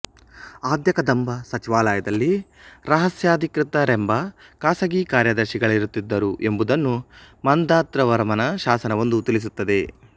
ಆದ್ಯಕದಂಬ ಸಚಿವಾಲಯದಲ್ಲಿ ರಹಸ್ಯಾಧಿಕೃತರೆಂಬ ಖಾಸಗಿ ಕಾರ್ಯದರ್ಶಿ ಗಳಿರುತ್ತಿದ್ದರು ಎಂಬುದನ್ನು ಮಾಂಧಾತೃವರ್ಮನ ಶಾಸನವೊಂದು ತಿಳಿಸುತ್ತದೆ